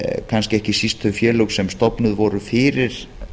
kannski ekki síst þau félög sem stofnuð voru fyrir